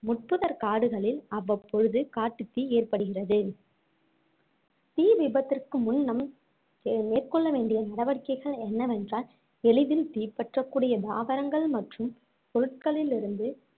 முட்புதர் காடுகளில் அவ்வப்பொழுது காட்டுத் தீ ஏற்படுகிறது தீ விபத்திற்கு முன்னம் மேற்கொள்ள வேண்டிய நடவடிக்கைகள் என்னவேன்றால் எளிதில் தீப்பற்றக்கூடிய தாவரங்கள் மற்றும் பொருட்களிலிருந்து